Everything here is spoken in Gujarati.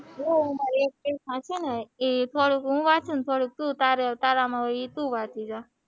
હું હવે એક થોડું વાંચું અને થોડું તું વાંચી જા,